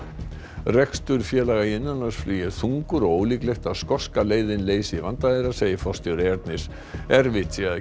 rekstur félaga í innanlandsflugi er þungur og ólíklegt að skoska leiðin leysi vanda þeirra segir forstjóri Ernis erfitt sé að